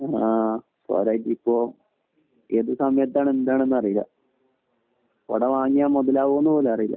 ആഹ് ഏത് സമയത്താണ് എന്താണെന്നു അറിയില്ല കുട വാങ്ങിയാൽ മുതലാകുമോ എന്നുപോലും അറിയില്ല